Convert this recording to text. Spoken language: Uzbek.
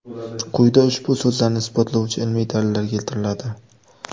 Quyida ushbu so‘zlarni isbotlovchi ilmiy dalillar keltiriladi.